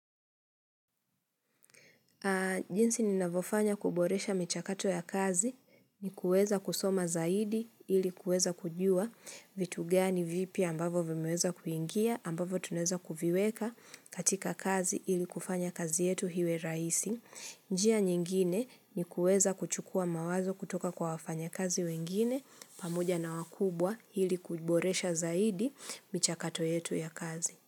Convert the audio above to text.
Jinsi ninavyofanya kuboresha michakato ya kazi ni kuweza kusoma zaidi ili kuweza kujua vitu gani vipya ambavyo vimeweza kuingia ambavyo tunaeza kuviweka katika kazi ili kufanya kazi yetu iwe rahisi. Njia nyingine ni kuweza kuchukua mawazo kutoka kwa wafanya kazi wengine pamoja na wakubwa ili kuboresha zaidi michakato yetu ya kazi.